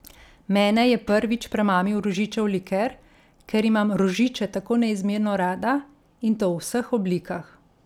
Mene je prvič premamil rožičev liker, ker imam rožiče tako neizmerno rada, in to v vseh oblikah.